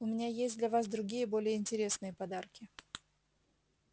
у меня есть для вас другие более интересные подарки